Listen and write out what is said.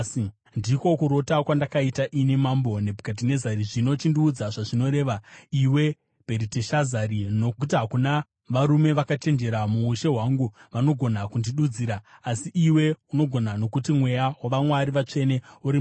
“Ndiko kurota kwandakaita, ini Mambo Nebhukadhinezari. Zvino chindiudza zvazvinoreva, iwe, Bheriteshazari, nokuti hakuna varume vakachenjera muushe hwangu vangagona kundidudzira. Asi iwe unogona, nokuti mweya wavamwari vatsvene uri mauri.”